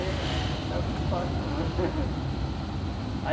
nao é muito fácil não. Aí